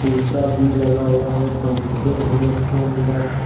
शीशा भी लगा हुआ है पंखे हैं इसके अंदर।